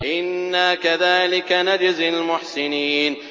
إِنَّا كَذَٰلِكَ نَجْزِي الْمُحْسِنِينَ